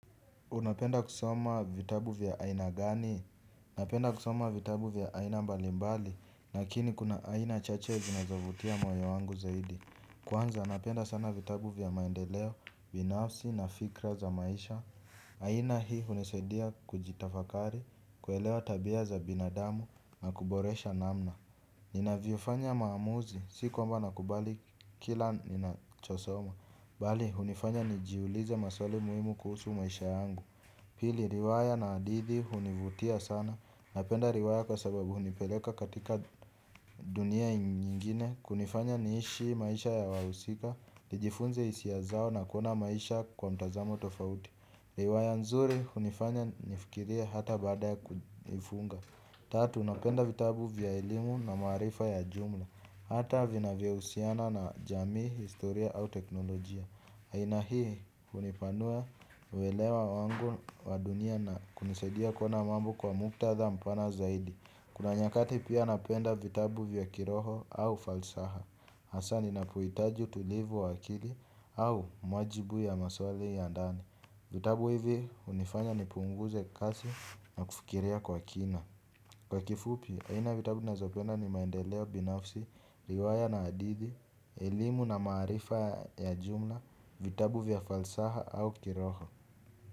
Unapenda kusoma vitabu vya aina gani. Napenda kusoma vitabu vya aina mbalimbali lakini kuna aina chache zinazovutia moyo wangu zaidi. Kwanza napenda sana vitabu vya maendeleo, binafsi na fikra za maisha. Aina hii hunisadia kujitafakari, kuelewa tabia za binadamu na kuboresha namna ninavyofanya maamuzi, si kwamba nakubali kila ninachosoma. Bali, hunifanya nijiulize maswali muhimu kuhusu maisha yangu. Pili, riwaya na hadidi hunivutia sana. Napenda riwaya kwa sababu hunipeleka katika dunia nyingine kunifanya niishi maisha ya wahusika. Nijifunze hisia zao na kuona maisha kwa mtazamo tofauti. Riwaya nzuri, hunifanya nifikirie hata bada ya kuifunga. Tatu, napenda vitabu vya elimu na maarifa ya jumla. Hata vinavyohusiana na jamii, historia au teknolojia. Aina hii hunipanua uelewa wangu wa dunia na kunisadia kuona mambo kwa muktadha mpana zaidi. Kuna nyakati pia napenda vitabu vya kiroho au falsafa. Hasa ninapohitaji utulivu wakili au majibu ya maswali ya ndani. Vitabu hivi hunifanya nipunguze kasi na kufikiria kwa kina. Kwa kifupi, aina vitabu nazopenda ni maendeleo binafsi, riwaya na hadidi, elimu na maarifa ya jumla vitabu via falsafa au kiroho.